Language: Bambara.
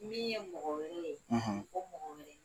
Min ye mɔgɔ wɛrɛw ye; O mɔgɔw wele